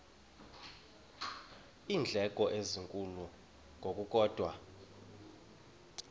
iindleko ezinkulu ngokukodwa